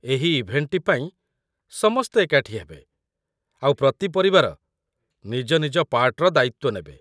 ଏହି ଇଭେଣ୍ଟଟି ପାଇଁ ସମସ୍ତେ ଏକାଠି ହେବେ ଆଉ ପ୍ରତି ପରିବାର ନିଜ ନିଜ ପାର୍ଟ୍‌ର ଦାୟିତ୍ୱ ନେବେ ।